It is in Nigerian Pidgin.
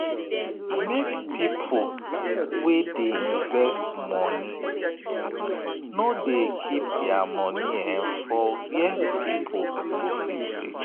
make people wey dey invest money nor dey keep their money for where people go fit reach.